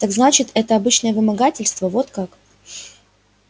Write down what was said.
так значит это обычное вымогательство вот как